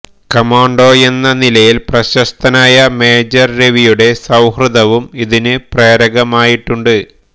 കമാണ്ടോയെന്ന നിലയിൽ പ്രശസ്തനായ മേജർ രവിയുടെ സൌഹൃദവും ഇതിന് പ്രേരകമായിട്ടുണ്ട്